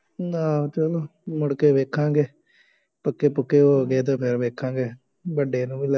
ਨਾ ਚੱਲੋ, ਮੁੜਕੇ ਵੇਖਾਂਗੇ, ਪੱਕੇ ਪੁੱਕੇ ਹੋ ਗਏ ਤਾਂ ਫੇਰ ਵੇਖਾਂਗੇ ਵੱਡੇ ਨੂੰ ਵੀ ਲੈ